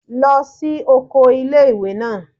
Lọ sí oko ilé-ìwé náà!